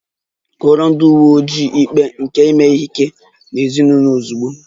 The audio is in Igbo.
Kọọrọ ndị uwe ojii ikpe nke ime ihe ike n'ezinụlọ ozugbo!